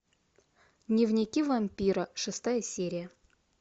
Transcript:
дневники вампира шестая серия